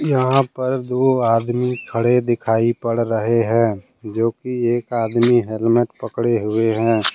यहां पर दो आदमी खड़े दिखाई पड़ रहे हैं जो कि एक आदमी हेलमेट पकड़े हुए हैं।